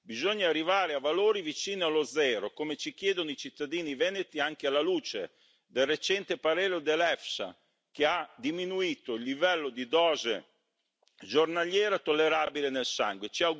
Bisogna arrivare a valori vicino allo zero, come ci chiedono i cittadini veneti anche alla luce del recente parere dell'EFSA, che ha diminuito il livello di dose giornaliera tollerabile nel sangue.